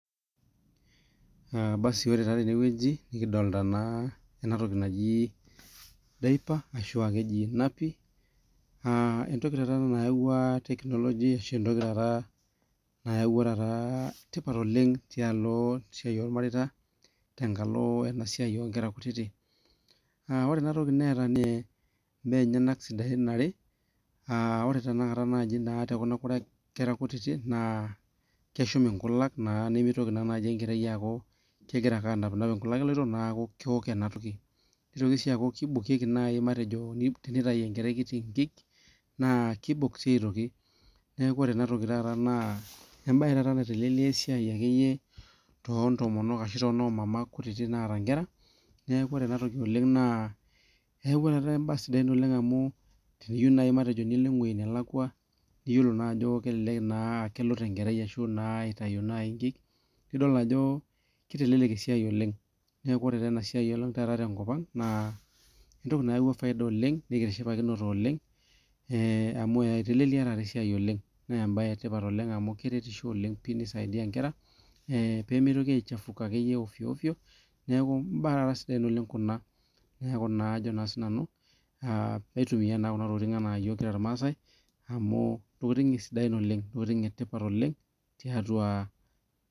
Basi ore taa tenewueji nikidolta naa enatoki naji diaper ashu keji napi uh entoki taata ena nayawua tekinoloji ashu entoki taata nayawua taata tipat oleng tialo esiai olmareita tenkalo ena siai onkera kutiti uh ore enatoki neeta nee imbaa enyenak sidain are uh ore tena kata naaji naa tekuna kera kutiti naa keshum inkulak naa nemitoki naa aaku kegira ake anapinap inkulak eloito naaku kewok enatoki nitoki sii aaku kibokieki naaji matejo tenitai enkerai kiti inkik naa kibok sii aitoki neku ore enatoki taata naa embaye taata naitelelia esiai akeyie tontomonok ashu tonomama kutiti naata inkera neku ore enatoki oleng naa eyawua taata imbaa sidain amu tiniyieu naaji matejo nilo eng'uei nelakua niyiolo naa ajo kelelek naa akelut enkerai ashu naa ashu naa itayu naaji inkiki nidol naa ajo kitelelek esiai oleng neeku ore taa enasiai oleng taata tenkop ang naa entoki nayawua faida oleng nikitishipakinote oleng eh amu eh itelelia taata esiai oleng nembaye etipat oleng amu keretisho oleng pii nisaidia inkera eh pemitoki aichafuka akeyie ovyo ovyo neku imbaa taata sidain oleng kuna neeku ajo naa sinanu uh maitumiyia naa kuna tokitin enaa iyiok kira irmaasae amu intokiting sidain oleng intokiting etipat oleng tiatua.